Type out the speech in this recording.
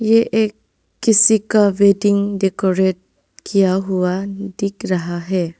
ये एक किसी का वेडिंग डेकोरेट किया हुआ दिख रहा है।